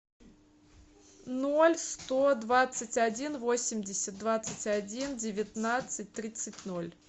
ноль сто двадцать один восемьдесят двадцать один девятнадцать тридцать ноль